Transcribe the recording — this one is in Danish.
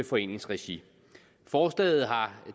foreningsregi forslaget har